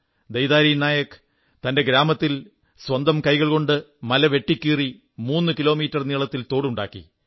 ദൈതാരി നായക് തന്റെഗ്രാമത്തിൽ സ്വന്തം കൈകൾകൊണ്ട് മല വെട്ടിക്കീറി മൂന്നു കിലോമീറ്റർ നീളത്തിൽ തോടുണ്ടാക്കി